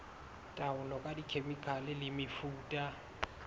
taolo ka dikhemikhale le mefuta